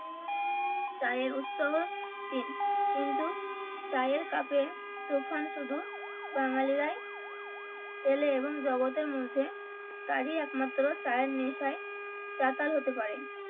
চায়ের উৎস চীন কিন্তু চায়ের কাপ এ তুফান শুধু বাঙালিরাই তোলে এবং জগতের মধ্যে তারই একমাত্র চায়ের নেশায় চাতাল হতে পারে